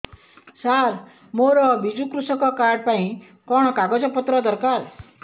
ସାର ମୋର ବିଜୁ କୃଷକ କାର୍ଡ ପାଇଁ କଣ କାଗଜ ପତ୍ର ଦରକାର